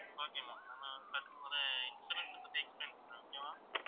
okay ma'am நாம பாக்க போற insurance அ பத்தி explain பண்றேன் okay வா